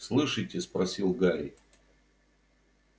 слышите спросил гарри